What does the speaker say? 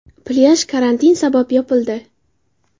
Plyaj karantin sabab yopildi.